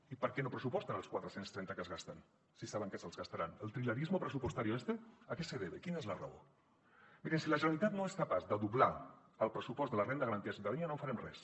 i per què no pressuposten els quatre cents i trenta que es gasten si saben que se’ls gastaran el trilerismo presupuestario este a qué se debe quina és la raó mirin si la generalitat no és capaç de doblar el pressupost de la renda garantida de ciutadania no farem res